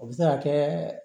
O bɛ se ka kɛ